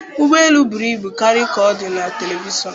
Ụgbọ elu buru ibu karịa ka ọ dị na telivishọn